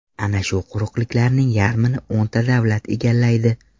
Ana shu quruqlikning yarmini o‘nta davlat egallaydi.